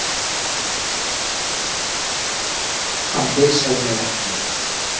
Hann heilsaði mér ekki.